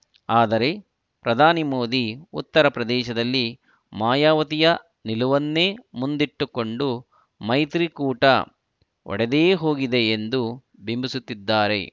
ಆದರೆ ಪ್ರಧಾನಿ ಮೋದಿ ಉತ್ತರ ಪ್ರದೇಶದಲ್ಲಿ ಮಾಯಾವತಿಯ ನಿಲುವನ್ನೇ ಮುಂದಿಟ್ಟುಕೊಂಡು ಮೈತ್ರಿಕೂಟ ಒಡೆದೇ ಹೋಗಿದೆ ಎಂದು ಬಿಂಬಿಸುತ್ತಿದ್ದಾರೆ